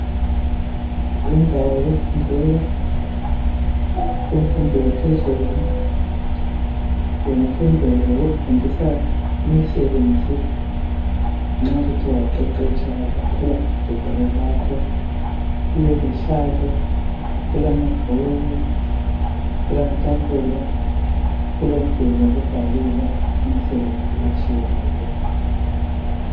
Yindawo yokufundela kumfundo yaphezulu, lemfundo yokufundisa imisebenzi nxa usuthe waqeqetsha wathola i degree lakho. Kulezihlalo, kulamabhuku, kulamatafula, kulomduli wokubhalela imsebenzi etshiyeneyo.